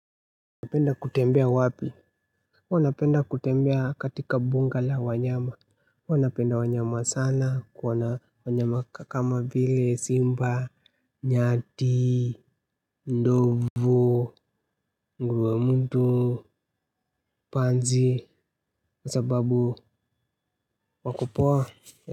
Napenda kutembea wapi, huwa napenda kutembea katika bunga la wanyama, huwa napenda wanyama sana, kuwaona wanyama kama vile simba, nyati, ndovu, nguruwe mwitu, panzi, kwa sababu wakopoa.